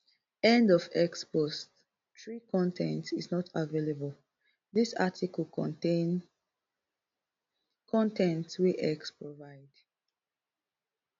end of x post three con ten t is not available dis article contain con ten t wey x provide